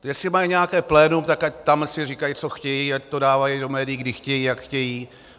Jestli mají nějaké plénum, tak tam ať si říkají, co chtějí, ať to dávají do médií, kdy chtějí, jak chtějí.